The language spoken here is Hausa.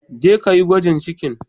Je ka yi gwajin cikin.